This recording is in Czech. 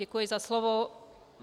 Děkuji za slovo.